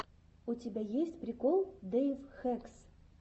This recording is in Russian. у тебя есть прикол дэйв хэкс